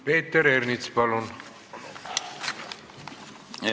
Peeter Ernits, palun!